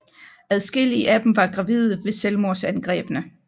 Adskillige af dem var gravide ved selvmordsangrebene